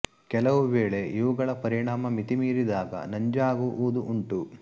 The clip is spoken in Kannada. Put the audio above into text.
ಕೆಲವು ವೇಳೆ ಇವುಗಳ ಪರಿಮಾಣ ಮಿತಿ ಮೀರಿದಾಗ ನಂಜಾಗುವುದು ಉಂಟು